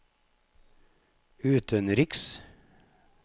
utenriks